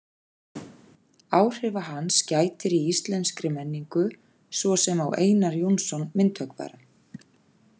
Áhrifa hans gætir í íslenskri menningu, svo sem á Einar Jónsson myndhöggvara.